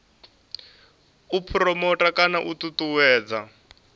u phuromotha kana u ṱuṱuwedza